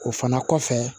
O fana kɔfɛ